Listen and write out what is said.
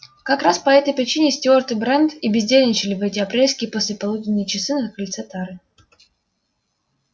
как раз по этой причине стюарт и брент и бездельничали в эти апрельские послеполуденные часы на крыльце тары